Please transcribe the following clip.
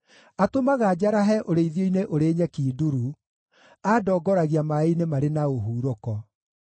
Atũmaga njarahe ũrĩithio-inĩ ũrĩ nyeki nduru, aandongoragia maaĩ-inĩ marĩ na ũhurũko.